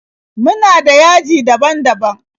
Muna da .yaji daban-daban.